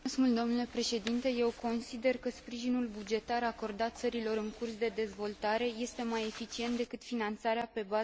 Eu consider că sprijinul bugetar acordat țărilor în curs de dezvoltare este mai eficient decât finanțarea pe bază de proiecte.